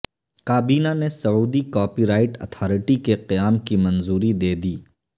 کابینہ نے Saudi copyright authority کے قیام کی منظوری دیدی